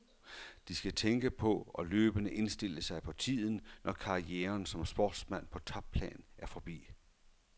De skal tænke på og løbende indstille sig på tiden, når karrieren som sportsmand på topplan er forbi.